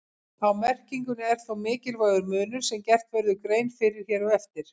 Á merkingunni er þó mikilvægur munur sem gert verður grein fyrir hér á eftir.